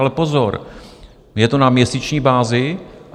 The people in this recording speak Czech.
Ale pozor, je to na měsíční bázi.